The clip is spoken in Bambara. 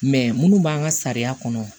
Mɛ munnu b'an ka sariya kɔnɔ